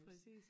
Præcis